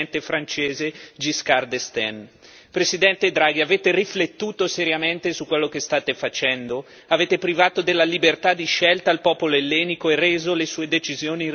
L'ultima autorevole presa di posizione è quella di un'europeista convinto, l'ex presidente francese Giscard d'Estaing. Presidente Draghi, avete riflettuto seriamente su quello che state facendo?